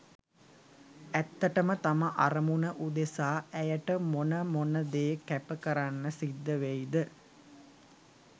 ඇත්තටම තම අරමුණ උදෙසා ඇයට මොන මොන දේ කැප කරන්න සිද්ධවෙයි ද?